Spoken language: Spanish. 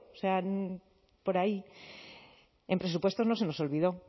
sea por ahí en presupuestos no se los olvidó